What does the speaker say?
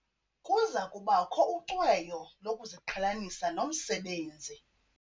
Kuza kubakho ucweyo lokuziqhelanisa nomsebenzi.